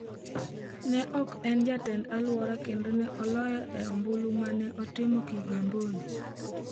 Ne ok en Jatend Alwora kendo ne oloye e ombulu ma ne otim Kigamboni.